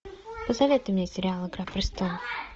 посоветуй мне сериал игра престолов